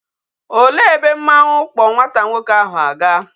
Olee ebe mmanwu kpo nwata nwoke ahụ aga?